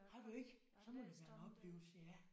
Har du ikke? Så må det være en oplevelse ja